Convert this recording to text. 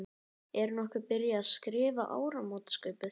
Er nokkuð byrjað að skrifa áramótaskaupið?